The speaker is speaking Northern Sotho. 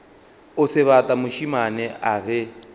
o sebata mošemane a ge